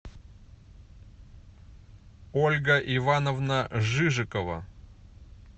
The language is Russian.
ольга ивановна жижикова